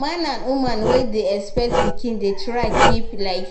man and woman wey dey expect pikin dey try keep like